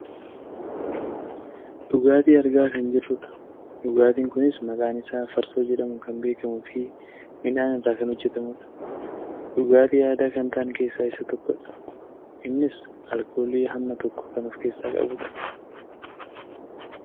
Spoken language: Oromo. Dhugaatii argaa kan jirrudha. Dhugaatiin kunis maqaan isaa farsoo jedhamuun kan beekamuufi midhaan irraa kan hojjatamudha. Dhugaatii aadaa kan ta'an keesaa isa tokkodha. Innis alkoolii hamma tokko kan of keessaa qabudha.